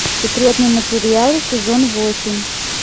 секретные материалы сезон восемь